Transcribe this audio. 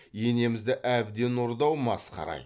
енемізді әбден ұрды ау масқара ай